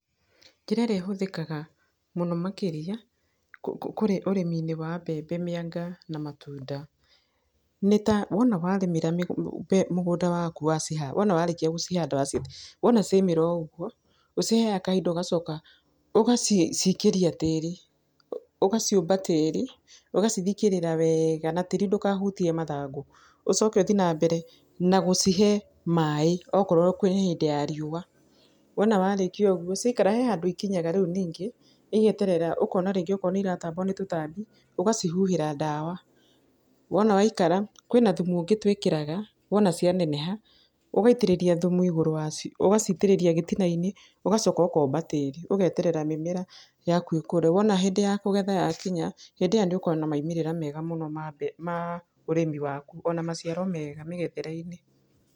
Njĩra ĩrĩa ĩhũthĩkaga mũno makĩria, kũrĩ ũrĩmi-inĩ wa mbembe, mĩanga na matunda, nĩ ta, wona warĩmĩra mũgũnda waku wona warĩkia gũcihanda, wacithika, wona ciaumĩra o ũguo, ũciheaga kahinda ũgacoka ũgaciikĩria tĩri. Ũgaciũmba tĩri, ũgacithikĩrĩra wega. Na tĩri ndũkahutie mathangũ. Ũcoke ũthi na mbere na gũcihe maĩ okorwo kwĩ hĩndĩ ya riũa. Wona warĩkia ũguo, ciakara, he handũ ikinyaga rĩu ningĩ, igĩterera ũkona rĩngĩ okorwo nĩ iratambwo nĩ tũtambi, ũgacihuhĩra ndawa. Wona waikara, kwĩna thumu ũngĩ twĩkĩraga, wona cianeneha, ũgaitĩrĩria thumu igũrũ wa cio, ũgaciitĩrĩria gĩtina-inĩ, ũgacoka ũkomba tĩri. Ũgeterera mĩmera yaku ĩkũre. Wona hĩndĩ ya kũgetha yakinya, hĩndĩ ĩyo nĩ ũkona maumĩrĩra mega mũno ma mbembe, ma ũrĩmi waku. Ona maciaro mega mĩgethere-inĩ.